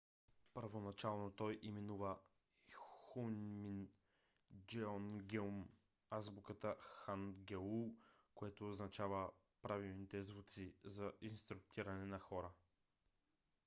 първоначално той именува хунмин джеонгеум азбуката хангеул което означава правилните звуци за инструктиране на хора